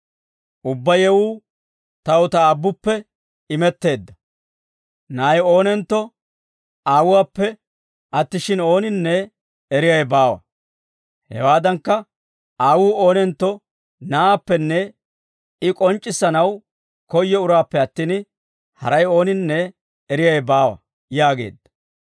«Ubbaa yewuu taw ta Aabbuppe imetteedda. Na'ay oonentto Aawuwaappe attishshin ooninne eriyaawe baawa; hewaadankka Aawuu oonentto Na'aappenne I k'onc'c'issanaw koyyo uraappe attin, haray ooninne eriyaawe baawa» yaageedda.